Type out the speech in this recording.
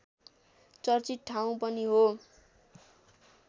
चर्चित ठाउँ पनि हो